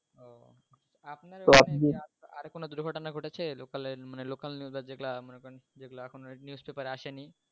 আর কোনো দূর্ঘটনা ঘটেছে local এর মানে local news এর যেগুলা মনে করেন যেগুলা এখনো news pepper আসেনি